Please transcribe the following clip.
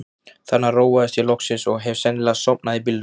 Þarna róaðist ég loksins og hef sennilega sofnað í bílnum.